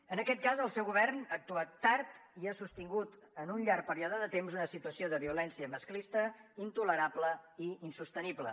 en aquest cas el seu govern ha actuat tard i ha sostingut en un llarg període de temps una situació de violència masclista intolerable i insostenible